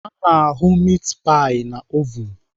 Ana ahụ mit pai na ovun.